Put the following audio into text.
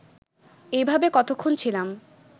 এইভাবে কতক্ষণ ছিলাম